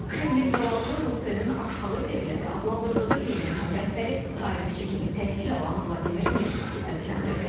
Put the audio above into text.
Kreml-in cavabını Ruttenin aşağı səviyyəli adlandırdığı heyətin rəhbəri, tarixçi kimi təhsil alan Vladimir Medinski səsləndirdi.